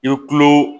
I bɛ kulo